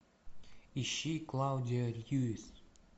ищи клаудия льюис